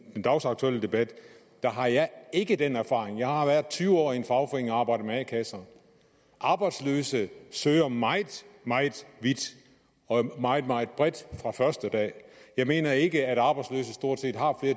dagsaktuelle debat har jeg ikke den erfaring jeg har været tyve år i en fagforening og arbejdet med a kasser arbejdsløse søger meget meget vidt og meget meget bredt fra den første dag jeg mener ikke at arbejdsløse stort set har